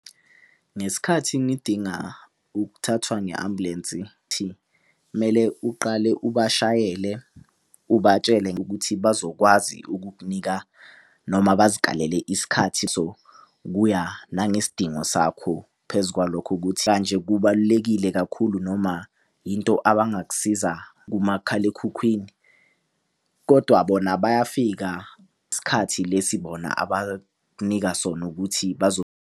Ngesikhathi ngidinga ukuthathwa nge-ambulensi kumele uqale ubashayele ubatshele ngokuthi bazokwazi ukukunika noma bazikalele isikhathi sokuya nangesidingo sakho. Phezukwalokho kubalulekile kakhulu noma into abangakusiza kumakhalekhukhwini. Kodwa bona bayafika isikhathi lesi bona abakunika sona ukuthi